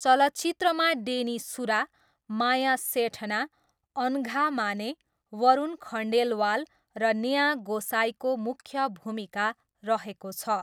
चलचित्रमा डेनी सुरा, माया सेठना, अनघा माने, वरुण खण्डेलवाल र नेहा गोसाईको मुख्य भूमिका रहेको छ।